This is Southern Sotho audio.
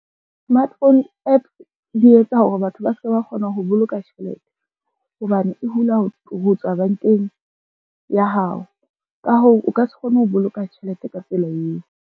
Smartphone app di etsa hore batho ba se ba kgona ho boloka tjhelete hobane e hula ho tswa bankeng ya hao. Ka hoo, o ka se kgone ho boloka tjhelete ka tsela eo.